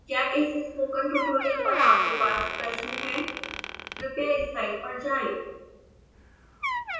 क्या इस spoken tutorial पर आपके पास प्रश्न है कृपया इस साइट पर जाएं